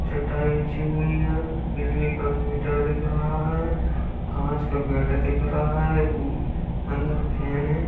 चटाई बिछी हुई है बिजली का मीटर दिख रहा है। काँच का गेट दिख रहा है अम अंदर फेन है।